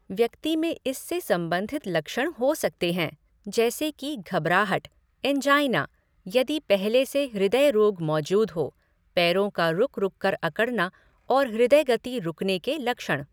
व्यक्ति में इससे संबंधित लक्षण हो सकते हैं, जैसे कि घबराहट, एंजाइना, यदि पहले से हृदय रोग मौजूद हो, पैरों का रुक रुक कर अकड़ना और हृदय गति रुकने के लक्षण।